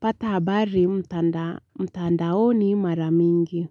Pata habari mtandaoni mara mingi.